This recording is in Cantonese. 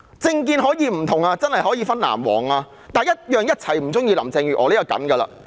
政見可以不同，可以分成藍黃，但大家必定同樣不喜歡林鄭月娥。